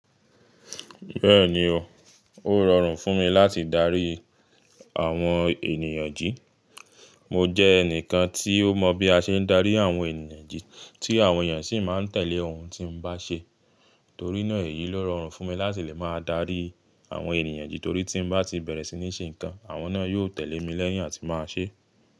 Bẹ́ẹ̀ni o, ó rọrùn fún mi láti darí àwọn ènìyàn jí. Mo jẹ́ ẹnìkan tí ó mọ bí a ṣe ń darí àwọn ènìyàn jí, tí àwọn ènìyàn sì máa ń tẹ̀lé ohun tí mo bá ṣe. Torí náà èyí ló rọrùn fún mi láti lè máa darí àwọn ènìyàn jí torí tí mo bá ti bẹ̀rẹ̀ sí ní ṣe nǹkan, àwọn náà yóò tẹ̀lé mi lẹ́yìn àti máa ṣé.